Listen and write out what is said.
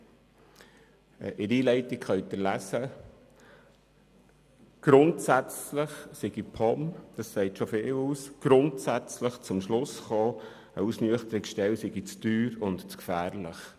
In der Einleitung können Sie lesen, dass die POM grundsätzlich zum Schluss kommt, eine Ausnüchterungsstelle sei zu teuer und zu gefährlich.